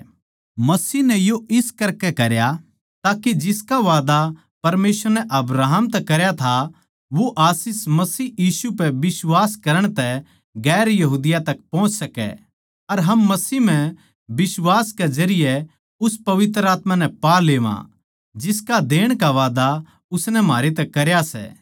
मसीह नै यो इस करकै करया ताके जिसका वादा परमेसवर नै अब्राहम तै करया था वो आशीष मसीह यीशु पै बिश्वास करण तै दुसरी जात्तां तक पोहच सकै अर हम मसीह म्ह बिश्वास कै जरिये उस पवित्र आत्मा नै पा लेवां जिसका देण का वादा उसनै म्हारे तै करया सै